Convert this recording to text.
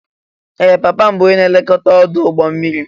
Ee! Papa m bụ onye na-elekọta ọdụ̀ ụgbọ mmiri.